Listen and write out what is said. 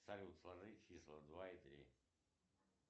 салют сложи числа два и три